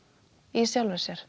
í sjálfum sér